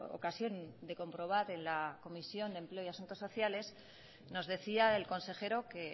ocasión de comprobar en la comisión de empleo y de asuntos sociales nos decía el consejero que